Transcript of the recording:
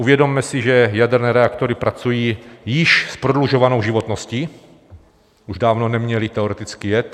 Uvědomme si, že jaderné reaktory pracují s již prodlužovanou životností, už dávno neměly teoreticky jet.